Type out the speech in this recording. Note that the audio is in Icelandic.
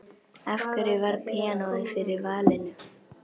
Af hverju varð píanóið fyrir valinu?